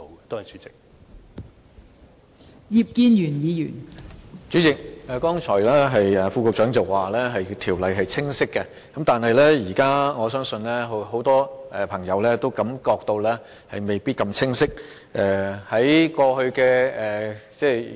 代理主席，剛才局長表示，《教育條例》是清晰的，但我相信現在很多朋友也感覺到，其實未必那麼清晰。